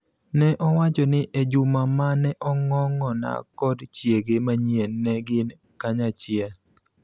Ne owacho ni e juma ma ne Ongong�a kod chiege manyien ne gin kanyachiel,